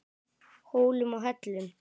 Hólum og hellum.